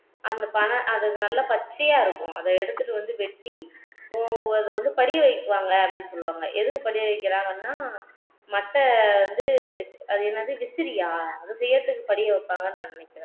அந்த பனை அது நல்லா பச்சையா இருக்கும் அதை எடுத்துட்டு வந்து வெட்டி அதை வந்து படிய வைப்பாங்க அப்படின்னு சொல்லுவாங்க எதுக்கு படிய வைக்கிறாங்கன்னா மட்டை வந்து இந்த அது என்னது விசிறியா அதை செய்யிறதுக்கு படிய வைப்பாங்கன்னு நான் நினைக்கிறேன்